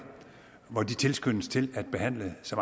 tilfælde lægerne så